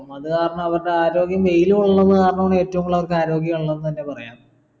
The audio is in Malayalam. അത് കാരണവരുടെ ആരോഗ്യം വെയിൽ കൊള്ളുന്നത് കാരണം ഏറ്റവും കൂടുതൽ അവർക്ക് ആരോഗ്യം ഉള്ളതെന്ന് പറയാ